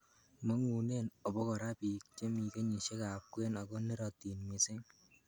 Mong'unen obokora biik chemi kenyisiekab kwen ako nerotin missing.